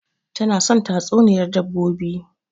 Tana son tatsuniyar dabbobi